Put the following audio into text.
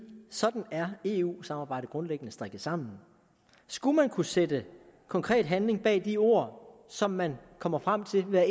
sådan er eu samarbejdet grundlæggende strikket sammen skulle man kunne sætte konkret handling bag de ord som man kommer frem til ved